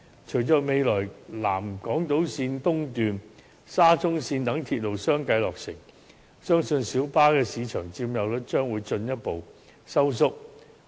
隨着未來南港島線和沙中線等鐵路相繼落成，相信小巴的市場佔有率將會進一步收縮。